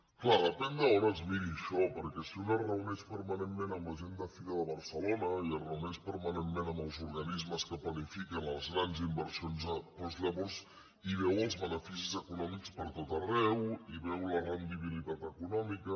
és clar depèn d’on es miri això perquè si un es reu·neix permanentment amb la gent de fira de barcelona i es reuneix permanentment amb els organismes que planifiquen les grans inversions doncs llavors hi veu els beneficis econòmics per tot arreu hi veu la rendi·bilitat econòmica